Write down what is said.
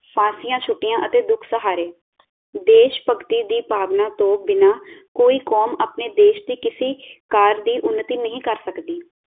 ਫਾਂਸੀਆਂ ਛੁਟੀਆਂ ਅਤੇ ਦੁੱਖ ਸਹਾਰੇ ਦੇਸ਼ਭਕਤੀ ਦੀ ਭਾਵਨਾ ਤੋਂ ਬਿਨਾ ਕੋਈ ਕੌਮ ਆਪਣੇ ਦੇਸ਼ ਦੀ ਕਿਸੀ ਕਾਰ ਦੀ ਉੱਨਤੀ ਨਹੀਂ ਕਰ ਸਕਦੀ